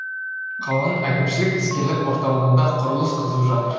қаланың әкімшілік іскерлік орталығында құрылыс қызып жатыр